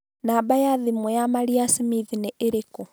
Namba ya thimũ ya Maria Smith nĩ ĩrĩkũ